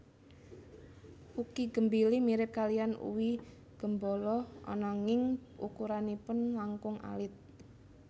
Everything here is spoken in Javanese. Uqi gembili mirip kaliyan uwi gembolo ananging ukuranipun langkung alit